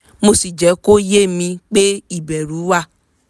mo sì jẹ́ kó ye mi pé ìbẹ̀rù wà